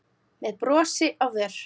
með brosi á vör.